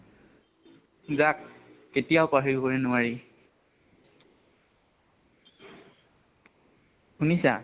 যাক কেতিয়াও পাহৰিব নোৱাৰি, শুনিছা?